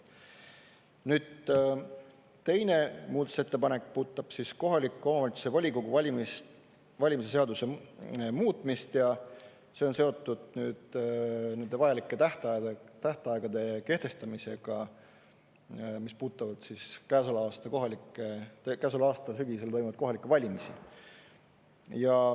Nüüd, teine muudatusettepanek puudutab kohaliku omavalitsuse volikogu valimise seaduse muutmist ja see on seotud nende vajalike tähtaegade kehtestamisega, mis puudutavad käesoleva aasta sügisel toimuvaid kohalikke valimisi.